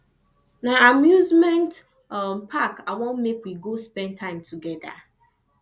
na amusement um park i wan make we go spend time togeda